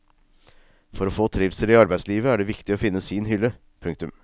For å få trivsel i arbeidslivet er det viktig å finne sin hylle. punktum